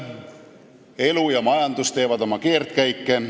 Elu ja majandus teevad ikka oma keerdkäike.